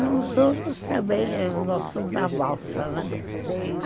Nos outros também eles gostam da valsa, né?